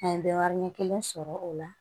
An ye bɛ warin kelen sɔrɔ o la